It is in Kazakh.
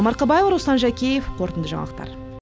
марқабаева руслан жәкеев қорытынды жаңалықтар